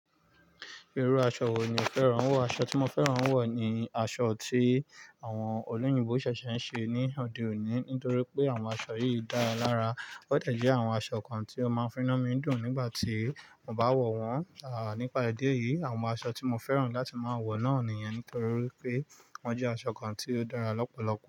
Irú aṣọ wo ni o fẹ́ràn wọ̀? Aṣọ tí mo fẹ́ràn wọ̀ ni aṣọ tí àwọn olóyìnbo ṣẹ̀ṣẹ̀ ń ṣe ní òde òní, nítorí pé àwọn aṣọ yìí dára lára. Ọ́ dẹ̀bjẹ́ àwọn aṣọ kan tí ó máa ń fi inú mi dùn nígbà tí mo bá wọ̀ wọ́n. Nípa idi èyí, àwọn aṣọ tí mo fẹ́ràn láti máa wọ̀ náà nìyẹn nítorí wípé wọ́n jẹ́ aṣọ kan tí ó dára lọ́pọ̀lọpọ̀.